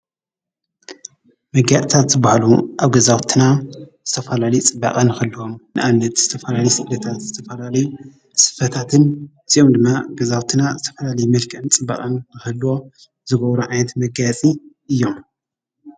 መጋየፂታት ዝባሃሉ ኣብ ገዛውትና ዝተፋላለዩ ፅባቀ ንክህልዎም። ንኣብነት ዝተፋላለዩ ስፈታትን ዝተፋላለዩ መልከዕትን እዚኦ ዲማ መልከዕን ፅባቀን ከህልዎዎ ዝገብሩ ዓይነት መጋይፅ እዮሞ::